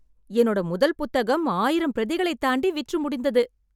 என்னோட முதல் புத்தகம் ஆயிரம் பிரதிகளை தாண்டி விற்று முடிந்தது.